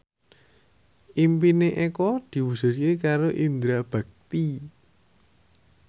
impine Eko diwujudke karo Indra Bekti